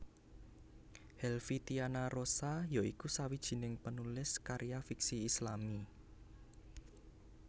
Helvy Tiana Rosa ya iku sawijining penulis karya fiksi Islami